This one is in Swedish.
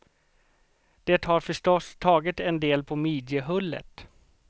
Det har förstås tagit en del på midjehullet.